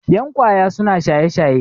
yan kwaya suna shaye-shaye